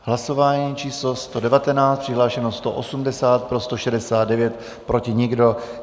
Hlasování číslo 119, přihlášeno 180, pro 169, proti nikdo.